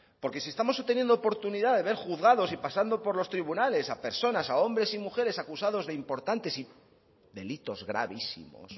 porque si estamos teniendo oportunidad de ver juzgado y pasando por los tribunales a personas a hombres y mujeres acusados de importantes y delitos gravísimos